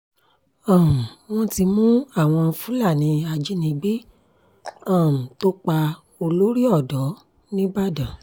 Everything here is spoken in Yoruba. um wọ́n ti mú àwọn fúlàní ajínigbé um tó pa olórí-odò nìbàdàn